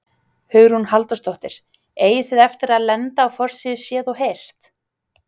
Hugrún Halldórsdóttir: Eigið þið eftir að lenda á forsíðu Séð og heyrt?